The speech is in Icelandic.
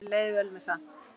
Henni leið vel með það.